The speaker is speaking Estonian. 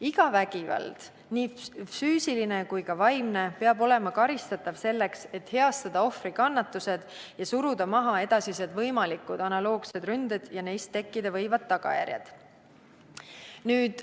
Iga vägivald, nii füüsiline kui ka vaimne, peab olema karistatav selleks, et heastada ohvri kannatused ja suruda maha edasised võimalikud analoogsed ründed ja neist tekkida võivad tagajärjed.